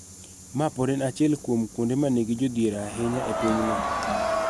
Ma pod en achiel kuom kuonde ma nigi jodhier ahinya e pinyno.